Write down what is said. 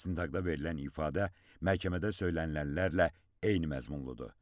İstintaqda verilən ifadə məhkəmədə söylənilənlərlə eyni məzmunludur.